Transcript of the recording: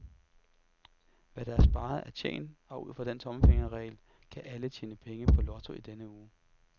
Hvad der er sparet er tjent, og ud fra den tommelfingerregel kan alle tjene penge på lotto denne uge.